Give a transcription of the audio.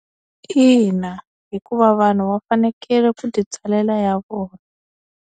Ina hikuva vanhu va fanekele ku titsalela ya vona.